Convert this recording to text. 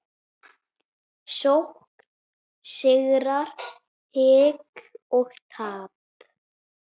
Sókn, sigrar, hik og tap.